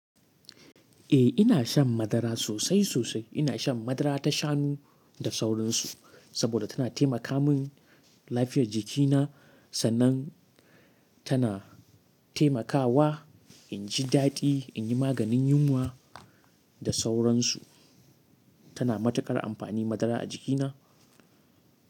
Eh ina shan madara sosai sosai. Ina shan madara ta shanu da sauransu, saboda tana taimaka min lafiyar jikina, sannan, tana taimakawa in ji daɗi, in yi maganin yunwa da sauransu. Tana matuƙar amfani madara a jikina.